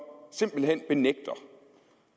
simpelt hen benægter